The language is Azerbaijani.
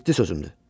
Ciddi sözümdür.